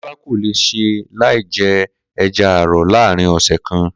Kó̩lá kò lè s̩e láì je̩ e̩ja àrò̩ láàárín ò̩sè̩ kan